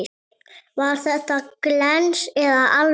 Var þetta glens eða alvara?